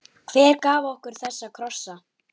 Hver gaf okkur þessa krossa?